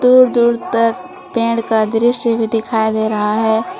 दूर दूर तक पेड़ का दृश्य भी दिखाई दे रहा है ।